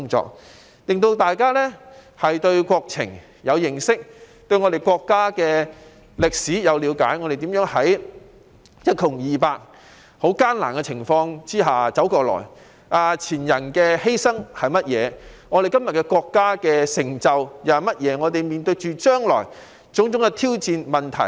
此舉的目的是加深大家對國情的認識，對我國歷史的了解，令我們明白國家如何從一窮二白的極艱難景況下一路走來，前人作出了甚麼犧牲，國家今天又有甚麼成就，將來須面對何種挑戰和問題。